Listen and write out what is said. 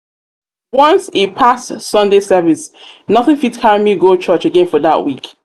once e pass sunday service nothing fit carry me go church again for that week